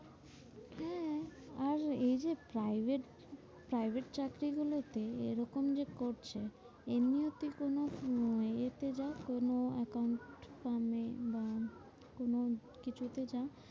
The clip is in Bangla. হ্যাঁ উম এই যে private private চাকরি গুলো তে এরকম যে করছে এমনিও তুই কোনো উম এ তে যা? কোনো account firm এ বা কোনো কিছু তে যা?